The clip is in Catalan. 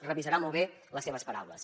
revisarà molt bé les seves paraules